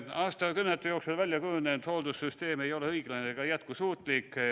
Aastakümnete jooksul välja kujunenud hooldussüsteem ei ole õiglane ega jätkusuutlik.